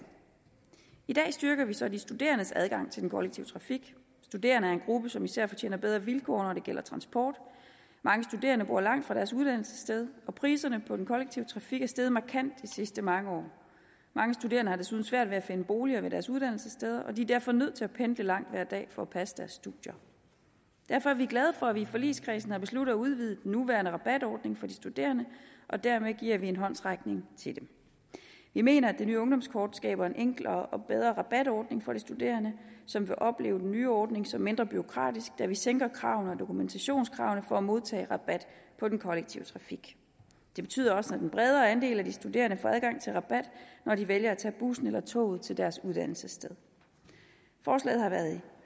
i dag styrker vi så de studerendes adgang til den kollektive trafik studerende er en gruppe som især fortjener bedre vilkår når det gælder transport mange studerende bor langt fra deres uddannelsessted og priserne på den kollektive trafik er steget markant i sidste mange år mange studerende har desuden svært ved at finde en bolig ved deres uddannelsessteder og de er derfor nødt til at pendle langt hver dag for at passe deres studier derfor er vi glade for at vi i forligskredsen har besluttet at udvide den nuværende rabatordning for de studerende og dermed give dem en håndsrækning vi mener at vi nye ungdomskort skaber en enklere og bedre rabatordning for de studerende som vil opleve den nye ordning som mindre bureaukratisk da vi sænker kravene og dokumentationskravene for at modtage rabat på den kollektive trafik det betyder også at en bredere andel af de studerende får adgang til rabat når de vælger at tage bussen eller toget til deres uddannelsessted forslaget har været i